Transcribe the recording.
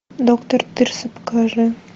доктор тырса покажи